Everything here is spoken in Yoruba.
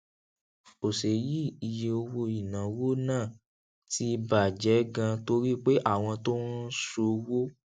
òsè yìí iye owó ìnáwó náà ti bà jé ganan torí pé àwọn tó ń ṣòwó